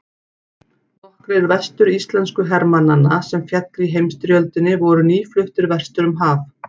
Nokkrir vestur-íslensku hermannanna sem féllu í heimsstyrjöldinni voru nýfluttir vestur um haf.